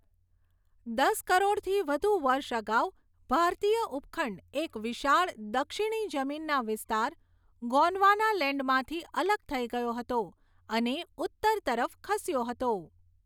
દસ કરોડથી વધુ વર્ષ અગાઉ, ભારતીય ઉપખંડ એક વિશાળ, દક્ષિણી જમીનના વિસ્તાર, ગોંડવાનાલેન્ડમાંથી અલગ થઈ ગયો હતો અને ઉત્તર તરફ ખસ્યો હતો.